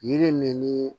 Yiri min ni